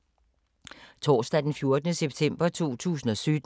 Torsdag d. 14. september 2017